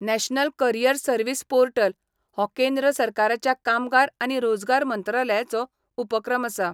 National career service portal हो केंद्र सरकाराच्या कामगार आनी रोजगार मंत्रालयाचो उपक्रम आसा.